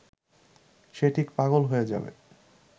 সে ঠিক পাগল হয়ে যাবে